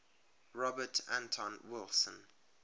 robert anton wilson